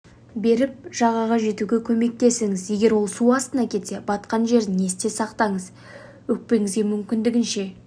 беріп жағаға жетуге көмектесіңіз егер ол су астына кетсе батқан жерін есте сақтаңыз өкпеңізге мүмкіндігінше